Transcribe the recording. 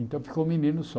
Então ficou o menino só.